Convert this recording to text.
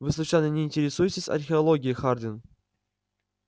вы случайно не интересуетесь археологией хардин